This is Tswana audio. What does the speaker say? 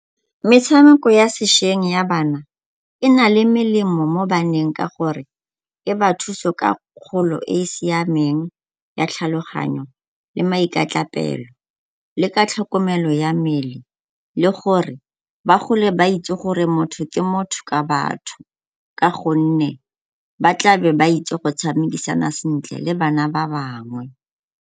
Metshameko ya sesheng ya bana e na le melemo mo baneng ka gore e ba thusa ka kgolo e e siameng ya tlhaloganyo le le ka tlhokomelo ya mmele le gore ba gole ba itse gore motho ke motho ka batho ka gonne ba tla be ba itse go tshamekisana sentle le bana ba bangwe.